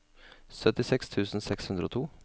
syttiseks tusen seks hundre og to